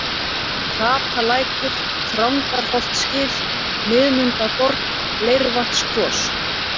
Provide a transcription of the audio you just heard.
Hrapalækur, Þrándarholtsgil, Miðmundaborg, Leirvatnskvos